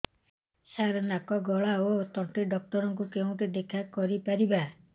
ସାର ନାକ ଗଳା ଓ ତଣ୍ଟି ଡକ୍ଟର ଙ୍କୁ କେଉଁଠି ଦେଖା କରିପାରିବା